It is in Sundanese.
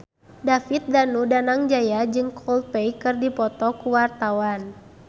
David Danu Danangjaya jeung Coldplay keur dipoto ku wartawan